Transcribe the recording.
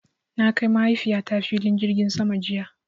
Na kai Mahaifiyata filin jirgin sama jiya.